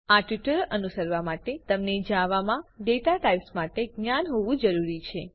આ ટ્યુટોરીયલ અનુસરવા માટે તમને જાવામાં ડેટા ટાઈપ્સ માટે જ્ઞાન હોવું જરૂરી છે